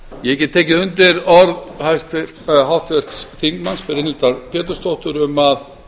ég get tekið undir orð háttvirts þingmanns brynhildar pétursdóttur um að